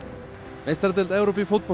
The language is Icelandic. meistaradeild Evrópu í fótbolta